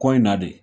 Kɔ in na de